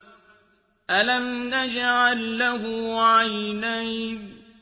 أَلَمْ نَجْعَل لَّهُ عَيْنَيْنِ